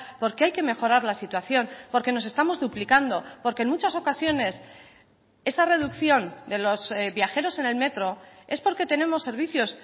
porque hay que mejorar la situación porque nos estamos duplicando porque en muchas ocasiones esa reducción de los viajeros en el metro es porque tenemos servicios